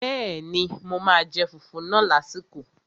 Bẹ́ẹ̀ni, mo máa jẹ fùfú náà lásìkò